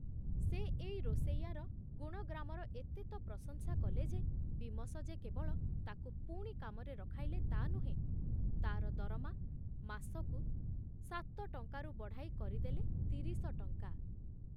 ସେ ଏଇ ରୋଷେଇଆର ଗୁଣଗ୍ରାମର ଏତେ ତ ପ୍ରଶଂସା କଲେ ଯେ ବୀମସ ଯେ କେବଳ ତାକୁ ପୁଣି କାମରେ ରଖାଇଲେ ତା ନୁହେଁ, ତାର ଦରମା ମାସକୁ ସାତ ଟଙ୍କାରୁ ବଢ଼ାଇ କରିଦେଲେ ତିରିଶ ଟଂକା